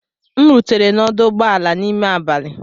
M rutere n'ọdụ ụgbọ ala n'ime abalị.